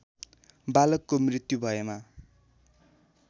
बालकको मृत्यु भएमा